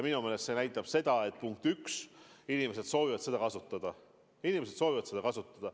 Minu meelest see näitab seda, punkt üks, et inimesed soovivad seda kasutada.